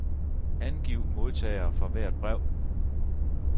Angiv modtagere for hvert brev.